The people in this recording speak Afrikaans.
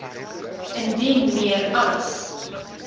indien meer as